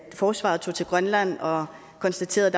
forsvaret tog til grønland og konstaterede